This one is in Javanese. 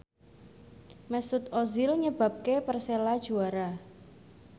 Mesut Ozil nyebabke Persela juara